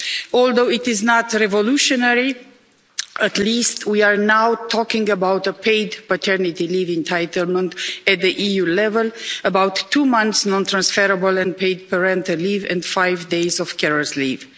Although it is not revolutionary, at least we are now talking about a paid paternity leave entitlement at the EU level, about two months' non-transferable and paid parental leave and five days of carers' leave.